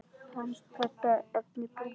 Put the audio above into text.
Hann kallaði efnið brúnt blý.